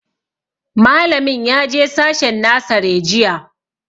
Malamin ya je sashen nasare jiya